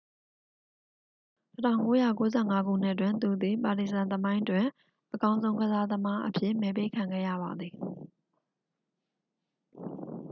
1995 ခုနှစ်တွင် သူသည် ပါတီဇန် သမိုင်းတွင် အကောင်းဆုံးကစားသမားအဖြစ် မဲပေးခံခဲ့ရပါသည်